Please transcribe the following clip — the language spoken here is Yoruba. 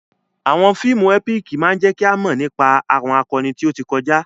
Àwọn fíìmù ẹ́píìkì máa jẹ́ kí o mọ̀ nípa àwọn akọni tí ó ti kọjá.